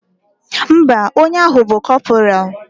Ḿbà, onye ahu bu corporal.